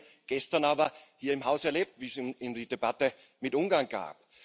Das haben wir gestern aber hier im Haus erlebt, als es die Debatte mit Ungarn gab.